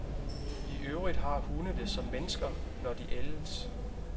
I øvrigt har hunde det som mennesker, når de ældes.